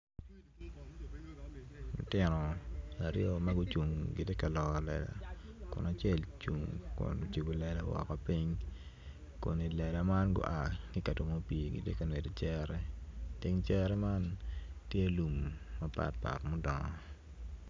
Lutino aryo ma gucuung gitye ka loro lela kun acel ocibo lela woko kun i lela man tye i cere i teng cere man tye lum mapatpat.